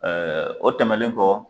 o tɛmɛlen kɔ